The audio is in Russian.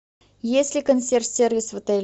есть ли консьерж сервис в отеле